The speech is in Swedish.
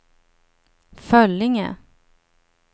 Föllinge